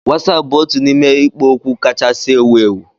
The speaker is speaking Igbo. Wasapu bụ otu n'ime ikpo okwu kachasị ewu ewu